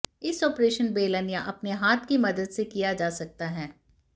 इस आपरेशन बेलन या अपने हाथ की मदद से किया जा सकता है